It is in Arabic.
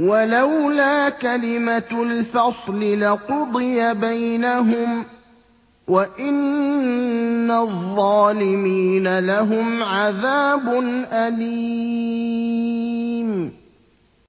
وَلَوْلَا كَلِمَةُ الْفَصْلِ لَقُضِيَ بَيْنَهُمْ ۗ وَإِنَّ الظَّالِمِينَ لَهُمْ عَذَابٌ أَلِيمٌ